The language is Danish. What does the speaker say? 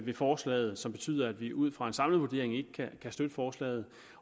ved forslaget som betyder at vi ud fra en samlet vurdering ikke kan støtte forslaget